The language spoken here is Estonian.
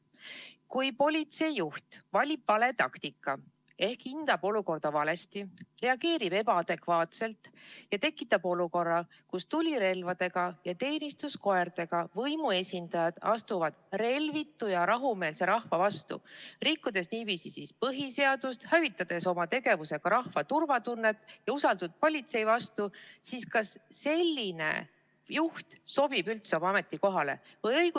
Kui politseijuht valib vale taktika ehk hindab olukorda valesti, reageerib ebaadekvaatselt ja tekitab olukorra, kus tulirelvadega ja teenistuskoertega võimuesindajad astuvad relvitu ja rahumeelse rahva vastu, rikkudes niiviisi põhiseadust ning hävitades oma tegevusega rahva turvatunnet ja usaldust politsei vastu, siis kas selline juht sobib üldse oma ametikohale?